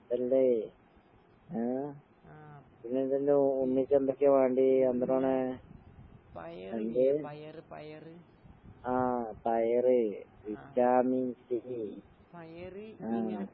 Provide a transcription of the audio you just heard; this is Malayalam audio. അല്ലേ? ആഹ് പിന്നെന്തെല്ലാ എന്തൊക്കെയാ വേണ്ടിയേ, എന്തൂട്ടാണ്? എന്ത്? ആഹ് പയറ്. Vitamin C. ആഹ്.